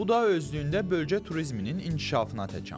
Bu da özlüyündə bölgə turizminin inkişafına təkan verir.